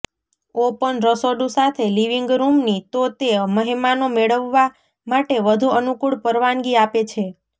open રસોડું સાથે living રુમની તો તે મહેમાનો મેળવવા માટે વધુ અનુકૂળ પરવાનગી આપે છે